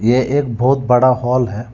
ये एक बहुत बड़ा हाल है।